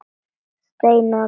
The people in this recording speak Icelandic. Steina og Tolla?